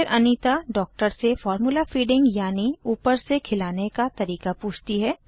फिर अनीता डॉक्टर से formula feeding यानि ऊपर से खिलाने का तरीका पूछती है